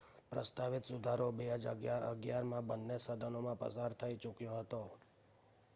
પ્રસ્તાવિત સુધારો 2011માં બન્ને સદનોમાં પસાર થઈ ચૂક્યો હતો